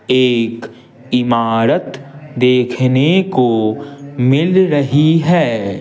एक इमारत देखने को मिल रही है।